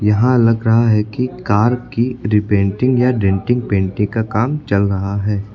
यहां लग रहा है कि कार की रिपेंटिंग या डेंटिंग पेंटिंग का काम चल रहा है।